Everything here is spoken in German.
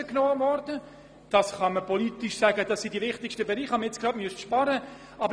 Politisch kann jemand sagen, das seien die wichtigsten Bereiche, bei denen zu sparen ist.